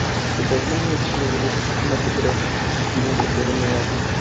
покажи мне кинематографический фильм затерянный лагерь